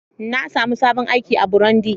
Na sami sabon aiki a Burundi.